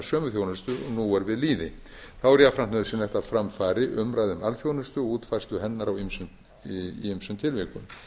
sömu þjónustu og nú er við lýði þá er jafnframt nauðsynlegt að fram fari umræða um alþjónustu og útfærslu hennar í ýmsum tilvikum